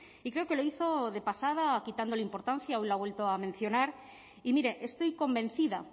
y creo que lo hizo de pasada o quitándole importancia hoy lo ha vuelto a mencionar y mire estoy convencida